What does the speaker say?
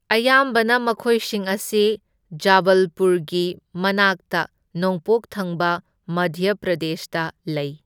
ꯑꯌꯥꯝꯕꯅ ꯃꯈꯣꯏꯁꯤꯡ ꯑꯁꯤ ꯖꯕꯜꯄꯨꯔꯒꯤ ꯃꯅꯥꯛꯇ ꯅꯣꯡꯄꯣꯛ ꯊꯪꯕ ꯃꯙ꯭ꯌ ꯄ꯭ꯔꯗꯦꯁꯇ ꯂꯩ꯫